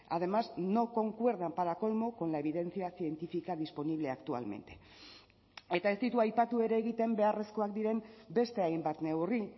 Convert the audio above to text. además no concuerdan para colmo con la evidencia científica disponible actualmente eta ez ditu aipatu ere egiten beharrezkoak diren beste hainbat neurri